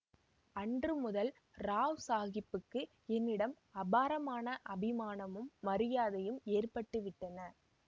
அன்று முதல் ராவ்சாகிப்புக்கு என்னிடம் அபாரமான அபிமானமும் மரியாதையும் ஏற்பட்டு விட்டன